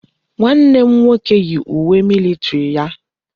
Nwanne m nwoke yi uwe militiri ya.